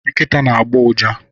Nkita na agbọ ụja